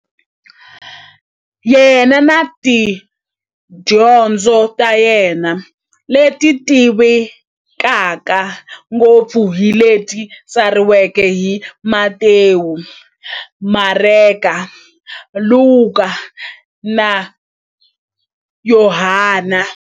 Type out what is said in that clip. Yena na tidyondzo ta yena, leti tivekaka ngopfu hi leti tsariweke hi-Matewu, Mareka, Luka, na Yohani.